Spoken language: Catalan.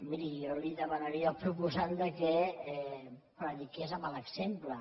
miri jo li demanaria al proposant que prediqués amb l’exemple